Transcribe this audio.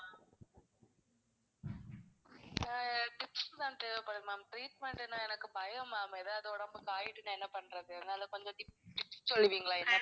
இப்ப tips தான் தேவப்படுது ma'am treatment னா எனக்கு பயம் ma'am. ஏதாவது உடம்புக்கு ஆயிட்டுனா என்ன பண்றது? அதனால கொஞ்சம் tips tips சொல்லுவிங்களா என்ன